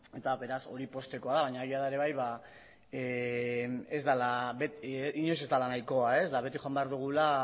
eta beraz hori poztekoa da baina egia da ere bai inoiz ez dela nahikoa eta beti joan behar dugula